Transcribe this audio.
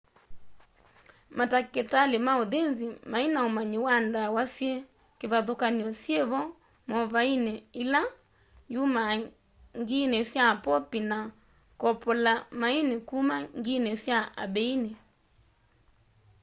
matakitali ma uthinzi maina umanyi wa ndawa syi kivathukany'o syivo movaini ila yumaa ngiini sya popi na kopolamaini kuma ngiini sya ambeini